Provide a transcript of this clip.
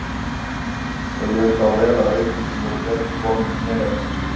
Og ég sá vel að veikindin voru betur komin í mér en í systur minni.